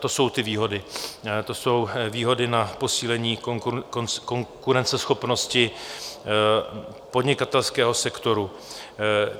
To jsou ty výhody, to jsou výhody na posílení konkurenceschopnosti podnikatelského sektoru.